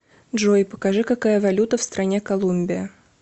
джой покажи какая валюта в стране колумбия